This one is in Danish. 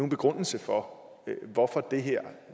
begrundelse for hvorfor det her